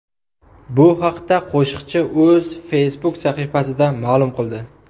Bu haqda qo‘shiqchi o‘z Facebook sahifasida ma’lum qildi .